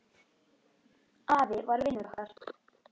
Afi var vinur okkar.